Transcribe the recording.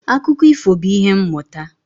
Akụkọ ifo bụ ìhè mmụta